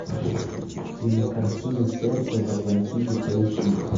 кинокартина сердца в атлантиде поищи